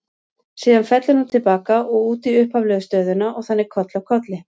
Síðan fellur hann til baka og út í upphaflegu stöðuna og þannig koll af kolli.